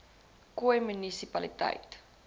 khoi munisi paliteit